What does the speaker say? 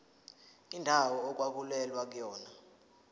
indawo okwakulwelwa kuyona